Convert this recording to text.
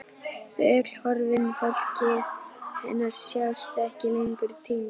Þau öll horfin, fólkið hennar, sjást ekki lengur, týnd.